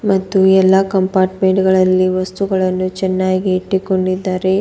ಮತ್ತು ಎಲ್ಲಾ ಕಂಪಾರ್ಟ್ಮೆಂಟ್ ಗಳಲ್ಲಿ ವಸ್ತುಗಳನ್ನು ಚೆನ್ನಾಗಿ ಇಟ್ಟುಕೊಂಡಿದ್ದಾರೆ.